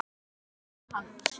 Páll: Hvað ætlarðu að gera?